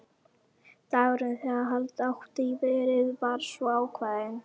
Dagurinn, þegar halda átti í verið, var svo ákveðinn.